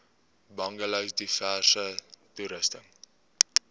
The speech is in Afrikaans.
bungalows diverse toerusting